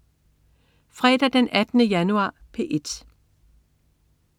Fredag den 18. januar - P1: